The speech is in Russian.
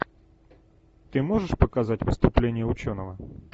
ты можешь показать выступление ученого